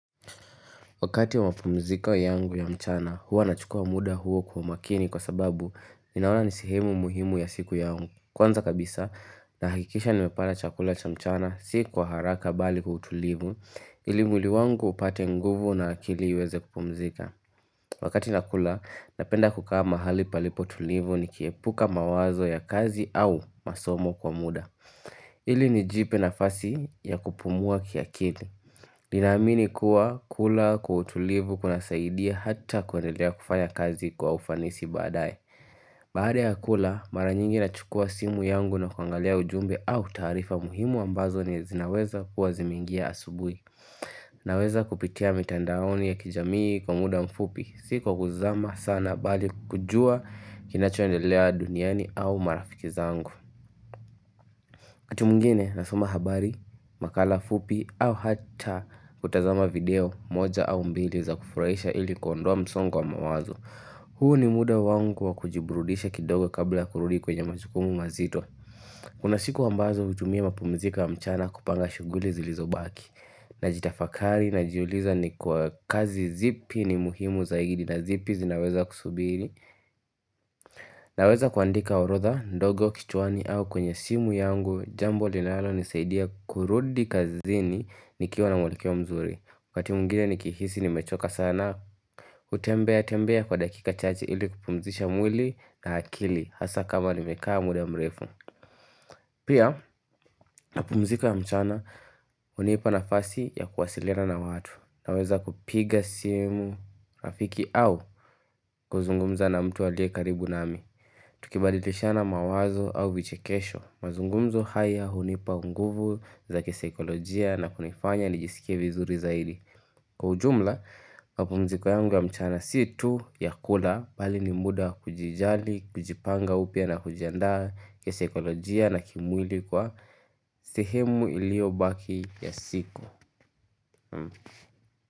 Wakati wa mapumziko yangu ya mchana, huwa nachukua muda huo kwa umakini kwa sababu ninaona ni sehemu muhimu ya siku yangu. Kwanza kabisa, nahakikisha nimepata chakula cha mchana, si kwa haraka bali kwa utulivu, ili mwili wangu upate nguvu na akili iweze kupumzika. Wakati nakula, napenda kukaa mahali palipo tulivu nikiepuka mawazo ya kazi au masomo kwa muda. Ili nijipe nafasi ya kupumua kiakili ninaamini kuwa kula kwa utulivu kunasaidia hata kuendelea kufanya kazi kwa ufanisi baadae Baada ya kula mara nyingi nachukua simu yangu na kuangalia ujumbe au taarifa muhimu ambazo ni zinaweza kuwa zimeingia asubuhi Naweza kupitia mitandaoni ya kijamii kwa muda mfupi Si kwa kuzama sana bali kujua kinachoendelea duniani au marafiki zangu wakati mwingine nasoma habari, makala fupi au hata kutazama video moja au mbili za kufurahisha ili kuondoa msongo wa mawazo huu ni muda wangu wa kujiburudisha kidogo kabla kurudi kwenye majukumu mazito Kuna siku ambazo hutumia mapumziko wa mchana kupanga shughuli zilizobaki Najitafakari najiuliza ni kwa kazi zipi ni muhimu zaidi na zipi zinaweza kusubiri Naweza kuandika orodha ndogo kichwani au kwenye simu yangu Jambo linalo nisaidia kurudi kazini nikiwa na mwelekeo mzuri wakati mwingine nikihisi nimechoka sana kutembea tembea kwa dakika chache ili kupumzisha mwili na akili Hasa kama nimekaa muda mrefu Pia mapumziko ya mchana hunipa nafasi ya kuwasiliana na watu Naweza kupiga simu rafiki au kuzungumza na mtu aliye karibu nami Tukibadilishana mawazo au vichekesho, mazungumzo haya hunipa unguvu za kisakolojia na kunifanya nijisikie vizuri zaidi. Kwa ujumla, mapumziko yangu wa mchana si tu ya kula bali ni muda kujijali, kujipanga upya na kujiandaa kisaikolojia na kimwili kwa sehemu iliobaki ya siku.